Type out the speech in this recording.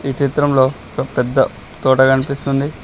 ఈ చిత్రంలో ఒక పెద్ద తోట కనిపిస్తుంది.